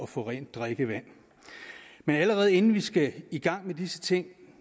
få rent drikkevand allerede inden vi skal i gang med disse ting